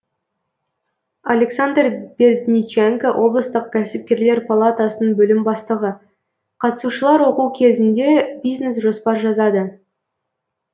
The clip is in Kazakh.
александр бердниченко облыстық кәсіпкерлер палатасының бөлім бастығы қатысушылар оқу кезінде бизнес жоспар жазады